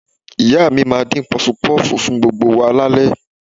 Ìyá mi máa dín Pọfupọ́ọ̀fù fún gbogbo wa lálẹ́